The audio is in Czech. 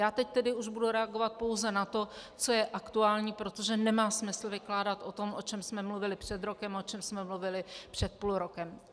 Já teď tedy už budu reagovat pouze na to, co je aktuální, protože nemá smysl vykládat o tom, o čem jsme mluvili před rokem, o čem jsme mluvili před půl rokem.